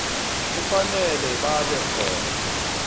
kufanele babe khona